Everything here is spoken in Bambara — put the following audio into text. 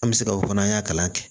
An bɛ se ka o fana an y'a kalan kɛ